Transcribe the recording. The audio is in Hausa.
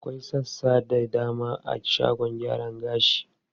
Akwai sassa da dama a shagon gyaran gashi.